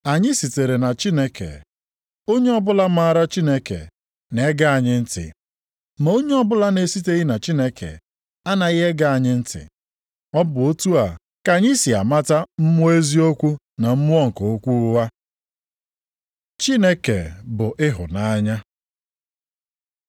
Anyị sitere na Chineke, onye ọbụla maara Chineke na-ege anyị ntị, ma onye ọbụla na-esiteghị na Chineke anaghị ege anyị ntị. Ọ bụ otu a ka anyị si amata mmụọ eziokwu na mmụọ nke okwu ụgha. Chineke bụ ịhụnanya